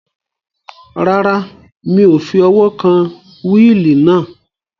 Rárá, mi ò fi ọwọ́ kan wíìlì náà